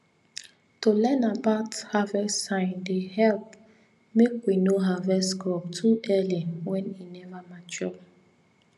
to learn about about harvest sign dey help make we no harvest crop too early when e never mature